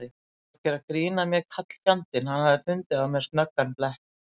Hann var að gera grín að mér karlfjandinn, hann hafði fundið á mér snöggan blett.